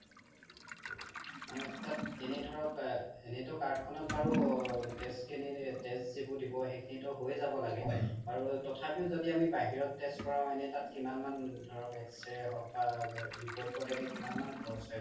মানে তাত এনে ধৰক এনেতো card খনত বাৰু test খিনি test যি বোৰ দিব সেইখিনিতো হৈ যাব লাগে বাৰু তথাপিও য্দি আমি বাহিৰত test কৰাও এনে তাত কিমান মান ধৰক X-ray হওক বা report ত এনে কিমান মান খৰচ হয় বাৰু